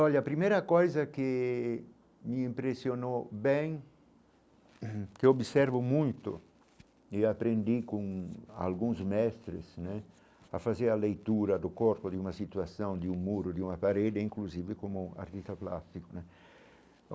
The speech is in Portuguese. Olha, a primeira coisa que me impressionou bem, que eu observo muito e aprendi com alguns mestres né a fazer a leitura do corpo de uma situação, de um muro, de uma parede, inclusive como artista plástico né.